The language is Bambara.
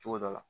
Cogo dɔ la